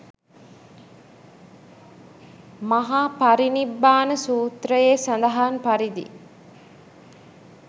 මහා පරිනිබ්බාන සුත්‍රයේ සඳහන් පරිදි